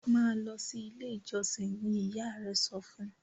ma lọ sí ilé ìjósìn! ní ìyá rẹ sọfún.